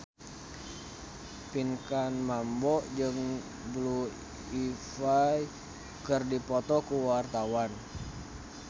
Pinkan Mambo jeung Blue Ivy keur dipoto ku wartawan